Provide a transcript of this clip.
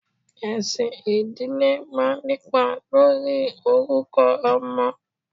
Esin ìdílé máa ń nípa lórí orúkọ ọmọ.